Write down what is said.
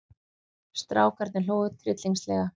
Strákarnir hlógu tryllingslega.